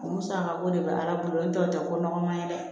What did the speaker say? O musakako de bɛ ala bolo n'o tɛ ko nɔgɔman ye dɛ